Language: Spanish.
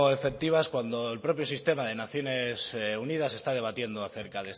efectivas cuando el propio sistema de naciones unidas está debatiendo acerca